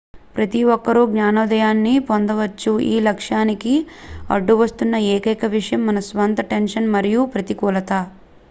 ప్రతి ఒక్కరూ జ్ఞానోదయాన్ని పొందవచ్చు ఈ లక్ష్యానికి అడ్డువస్తున్న ఏకైక విషయం మన స్వంత టెన్షన్ మరియు ప్రతికూలత